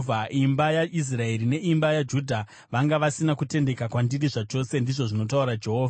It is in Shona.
Imba yaIsraeri neimba yaJudha vanga vasina kutendeka kwandiri zvachose,” ndizvo zvinotaura Jehovha.